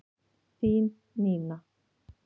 Þín Nína